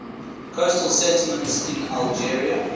coastal settlements in algeria